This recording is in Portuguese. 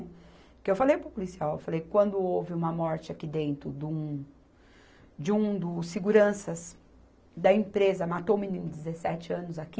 Porque eu falei para o policial, eu falei, quando houve uma morte aqui dentro do, de um dos seguranças da empresa, matou um menino de dezessete anos aqui.